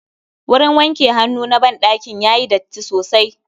Wurin wanke hannu na ban ɗakin yayi datti sosai